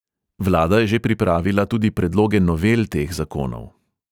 Vlada je že pripravila tudi predloge novel teh zakonov.